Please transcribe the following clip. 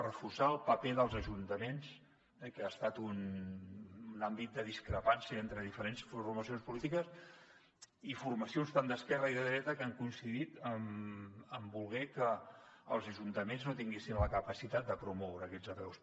reforçar el paper dels ajuntaments que ha estat un àmbit de discrepància entre diferents formacions polítiques i formacions tant d’esquerra com de dreta que han coincidit en voler que els ajuntaments no tinguessin la capacitat de promoure aquestes apeus